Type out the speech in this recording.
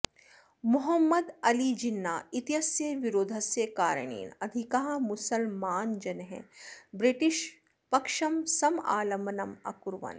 मोहम्मद् अलि जिन्ना इत्यस्य विरोधस्य कारणेन अधिकाः मुसल्मानजनः ब्रिटिश् पक्षं समालम्बनम् अकुर्वन्